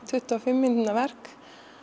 tuttugu og fimm mínútna verk